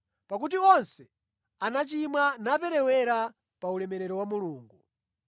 pakuti onse anachimwa naperewera pa ulemerero wa Mulungu